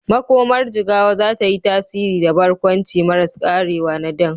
Makomar Jigawa za ta yi tasiri da barkwanci maras karewa na Dan.